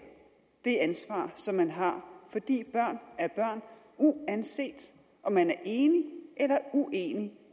det ansvar som man har fordi børn er børn uanset om man er enig eller uenig